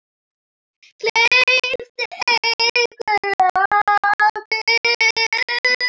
Hleypti einhver af byssu?